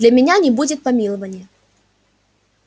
для меня не будет помилования